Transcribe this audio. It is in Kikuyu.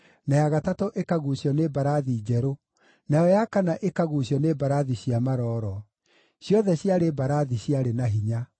na ya gatatũ ĩkaguucio nĩ mbarathi njerũ, nayo ya kana ĩkaguucio nĩ mbarathi cia marooro; ciothe ciarĩ mbarathi ciarĩ na hinya.